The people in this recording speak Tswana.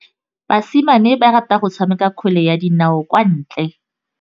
Basimane ba rata go tshameka kgwele ya dinaô kwa ntle.